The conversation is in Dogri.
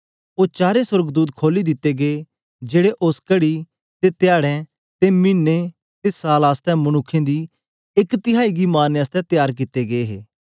ओ चारें सोर्गदूत खोली दित्ते गै जेड़े उस्स कड़ी ते धयारे ते मिने ते साल आसतै मनुक्खें दी एक तिहाई गी मारने आसतै तयार कित्ते गै हे